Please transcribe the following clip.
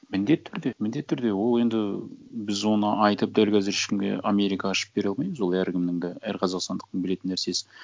міндетті түрде міндетті түрде ол енді біз оны айтып дәл қазір ешкімге америка ашып бере алмаймыз ол әркімнің де әр қазақстандықтың білетін нәрсесі